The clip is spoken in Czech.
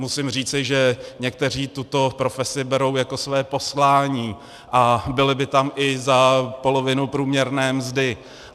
Musím říci, že někteří tuto profesi berou jako své poslání a byli by tam i za polovinu průměrné mzdy.